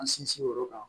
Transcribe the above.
An sinsin o yɔrɔ kan